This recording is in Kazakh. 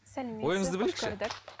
ойыңызды білейікші